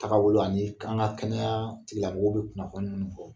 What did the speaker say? Tagabolo ani an ka kɛnɛya tigilamɔgɔw bɛ kunnafoni min fɔ